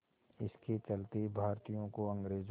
इसके चलते भारतीयों को अंग्रेज़ों